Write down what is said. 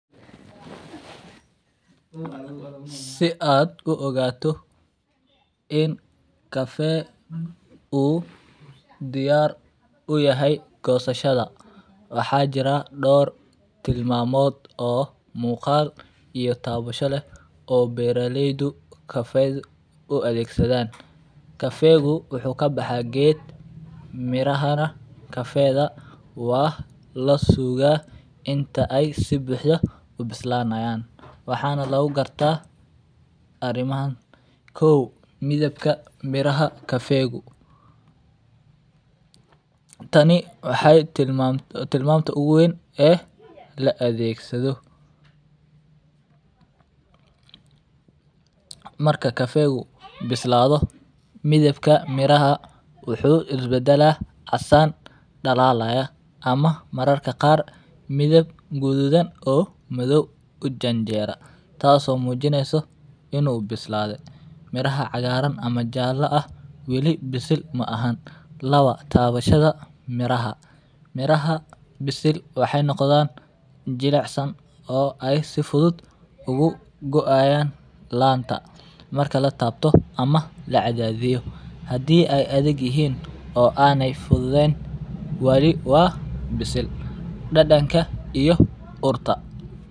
Si aad uogaato in kafee uu diyaar utahy goosashada waxaa jiraa door tilmaamod oo muqaal iyo taabasho leh oo beraaleydu kafeydu uadhegaan. Kafeegy wuxu kabaxaa geed miraha nah kafeed waa lasuuga inta ey sibuxdo ubilaanayaan. Waxaana lagugartaa arimaha, kow, midibka beeraha kaeegu, Tani wa timamtu ugu weyn ee laadegsadho. Marka kaeegu bislaaso midhibka miraha muxu iskubadalaa casaan dalaalaya ama mararka qaar midib gudhudhan oo meadow ujaenjeera taaso oo mujineysa inuu bislaadhe miraha cagaarana ama jaalaha ah wili bisil maaha. Laba, taabashada miraha, miraha bisil waxey noqdaan jilicsan oo ey si fudhud ugugoaayan laanta marka ama lacadhaadhiyo. Hadii ey adhag yahaan oo eyna fudhudhen wali waa bisil dadnka iyo urta.